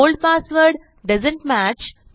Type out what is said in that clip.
old password doesn't match